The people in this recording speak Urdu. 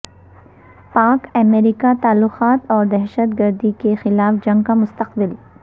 پاک امریکہ تعلقات اور دہشت گردی کے خلاف جنگ کا مستقبل